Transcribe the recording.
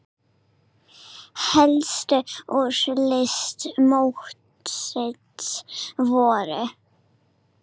Helstu úrslit mótsins voru